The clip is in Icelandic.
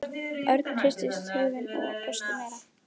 Örn hristi höfuðið og brosti meira.